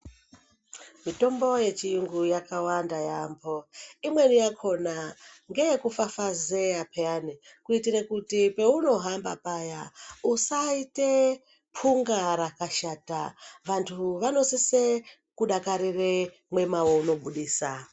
Mitombo yechiyungu yakawanda yaambo. Imweni yakona ngeyekufafazeya phiyani kuitire kuti peunohamba paya usaite punga rakashata. Vantu vanosise kudakarire mwema weunobudisa.